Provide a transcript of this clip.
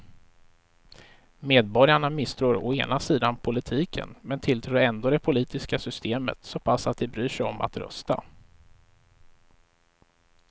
Medborgarna misstror å ena sidan politiken men tilltror ändå det politiska systemet så pass att de bryr sig om att rösta.